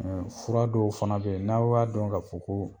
fura dɔw fana be ye n'aw b'a dɔn ka fɔ koo